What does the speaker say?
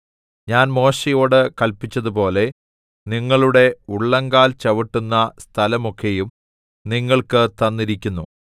ഞാൻ മോശെയോട് കല്പിച്ചതുപോലെ നിങ്ങളുടെ ഉള്ളങ്കാൽ ചവിട്ടുന്ന സ്ഥലമൊക്കെയും നിങ്ങൾക്ക് തന്നിരിക്കുന്നു